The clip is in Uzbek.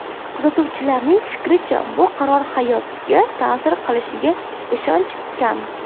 Kuzatuvchilarning fikricha, bu qaror hayotga ta’sir qilishiga ishonch kam .